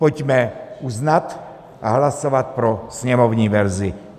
Pojďme uznat a hlasovat pro sněmovní verzi.